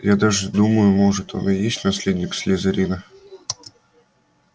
я даже думаю может он и есть наследник слизерина